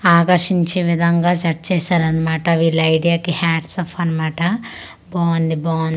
ఆకార్చించే విధంగా సెట్ చేశారు అన్నమాట వీళ్ళ ఐడియా కి హండ్స్ ఆఫ్ అన్నమాట బాగుంది బా--